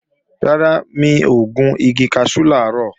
Rárá, mi ò gun igi kaṣú làárọ̀